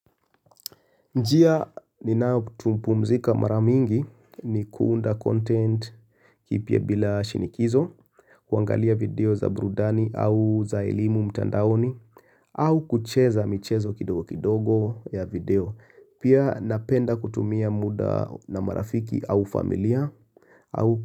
Njia ninayopumzika mara mingi ni kuunda content kipya bila shinikizo, kuangalia video za brudani au za elimu mtandaoni, au kucheza michezo kidogo kidogo ya video, pia napenda kutumia muda na marafiki au familia au.